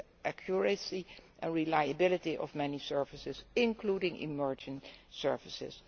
accuracy and reliability of many services, including emerging services.